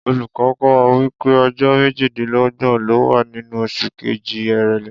Olùkó̩ kó̩ wa wípé o̩jó̩ méjìdínló̩gbò̩n ló wà nínú os̩ù kejì, Èrèlé